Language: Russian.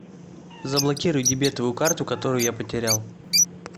заблокируй дебетовую карту которую я потерял